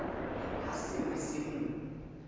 ha se ne se mo